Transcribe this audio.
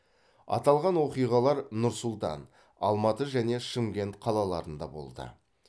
аталған оқиғалар нұр сұлтан алматы және шымкент қалаларында болды